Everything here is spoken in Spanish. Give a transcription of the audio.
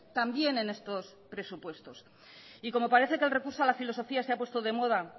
también en estos presupuestos y como parece que el recurso a la filosofía se ha puesto de moda